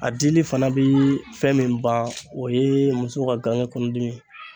A dili fana bɛ fɛn min ban o ye muso ka ga kangekɔnɔdimi ye.